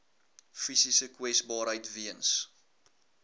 fisiese kwesbaarheid weens